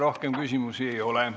Rohkem küsimusi ei ole.